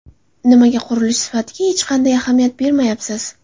Nimaga qurilish sifatiga hech qanday ahamiyat bermayapsiz?